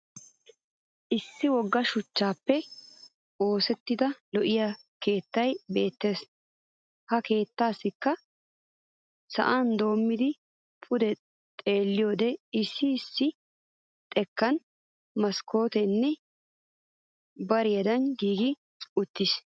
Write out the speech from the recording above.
Issi wogga shuchchaappe oosettida lo'iya keettay beettes. Ha keettaassikka sa'an doommidi pude xeelliyoode issi issi xekkan maskkooteenne barandday giigi uttis.